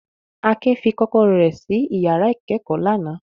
Akin fi kọ́kọ́rọ́ rẹ̀ ṣí ìyàrá ìkẹ́kọ̀ọ́ lánàá.